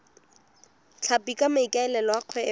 tlhapi ka maikaelelo a kgwebo